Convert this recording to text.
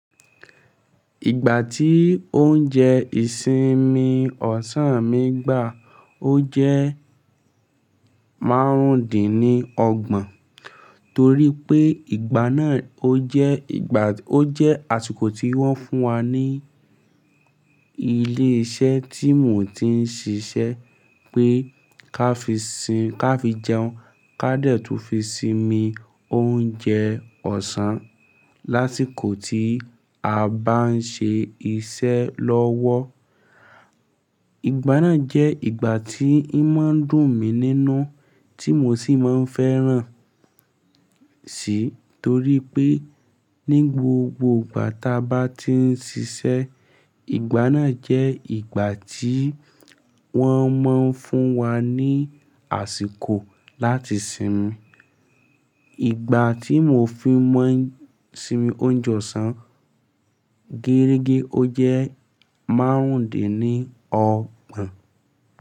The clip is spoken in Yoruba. Ìgbà tí oúnjẹ ìsinmi ọ̀sán mi gbà, ó jẹ́ márùndínní ọgbọ̀n torí pé ìgbà náà ó jẹ́ ìgbà, ó jẹ́ àsìkò tí wọ́n fún wa ní ilé iṣẹ́ tí mò ń ti ń ṣíṣe pé ká fi sìn-- ká fi jẹun, ká dẹ̀ tún fi sinmi oúnjẹ ọ̀sán lásìkò tí a bá ń ṣe iṣẹ́ lọ́wọ́. Ìgbà náà jẹ́ ìgbà tí n máa ń dùn mí nínú tí mò sì máa ń fẹ́ràn tí torí pé ní gbogbo ìgbà ta bá ti ń ṣiṣẹ́, ìgbà náà jẹ́ ìgbà tí wọ́n máa ń fún wa ní àsìkò láti sinmi. Ìgbà tí mò fi máa ń sinmi oúnjẹ ọ̀sán, géérige ó jẹ́ márùndínní ọgbọ̀n.